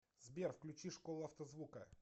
сбер включи школу автозвука